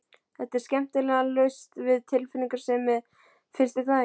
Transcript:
Þetta er skemmtilega laust við tilfinningasemi, finnst þér ekki?